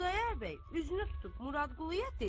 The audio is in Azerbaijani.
Xudayar bəy üzünü tutub Muradquluyə dedi: